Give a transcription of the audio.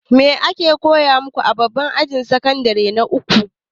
Me ake koya maku a babban ajin sakandire na uku?